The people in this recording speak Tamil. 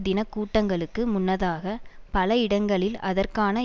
தின கூட்டங்களுக்கு முன்னதாக பல இடங்களில் அதற்கான